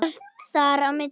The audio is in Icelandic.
Og allt þar á milli.